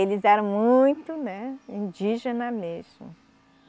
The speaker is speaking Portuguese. Eles eram muito, né, indígena mesmo.